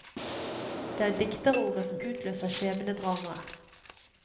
Det er dikterordet som utløser skjebnedramaet.